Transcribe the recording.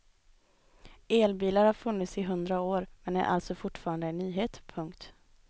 Elbilar har funnits i hundra år men är alltså fortfarande en nyhet. punkt